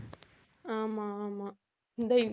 ஆமா ஆமா இந்த